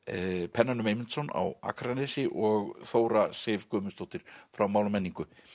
pennanum Eymundsson á Akranesi og Þóra Sif Guðmundsdóttir frá mál og menningu